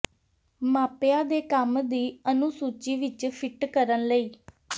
ਮਾਪਿਆਂ ਦੇ ਕੰਮ ਦੀ ਅਨੁਸੂਚੀ ਵਿੱਚ ਫਿੱਟ ਕਰਨ ਲਈ